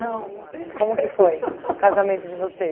não teve festa. Como que foi o casamento de